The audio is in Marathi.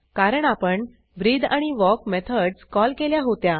कारण आपण ब्रीथ आणि वॉक मेथडस कॉल केल्या होत्या